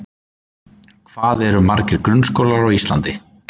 Hvað eru margir grunnskólar á Íslandi?